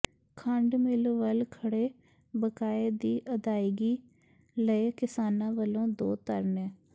ਖੰਡ ਮਿੱਲ ਵੱਲ ਖੜ੍ਹੇ ਬਕਾਏ ਦੀ ਅਦਾਇਗੀ ਲਈ ਕਿਸਾਨਾਂ ਵੱਲੋਂ ਦੋ ਧਰਨੇ